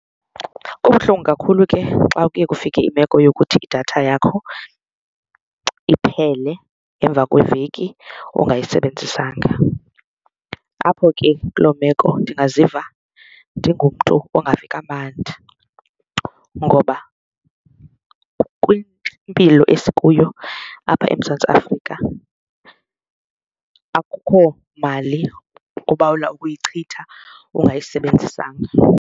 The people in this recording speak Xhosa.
Kubuhlungu kakhulu ke xa kuye kufike imeko yokuthi idatha yakho iphele emva kweveki ungayisebenzisanga. Apho ke kuloo meko ndingaziva ndingumntu ungavi kamandi ngoba kwimpilo esikuyo apha eMzantsi Afrika akukho mali obawela ukuyicutha ungayisebenzisanga.